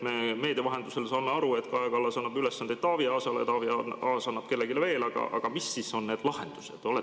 Me meedia vahendusel saame aru, et Kaja Kallas annab ülesande Taavi Aasale, Taavi Aas annab kellelegi veel, aga mis siis on need lahendused?